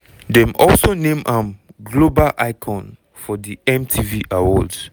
dem also name am global icon for di mtv awards.